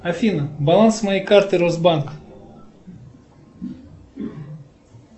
афина баланс моей карты росбанк